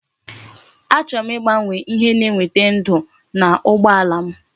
Achọrọ m igbanwe ihe na eweta ndu na ugbo alam